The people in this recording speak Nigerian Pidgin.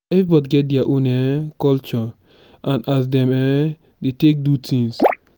everybody get dia own um culture and as dem um dey take do things.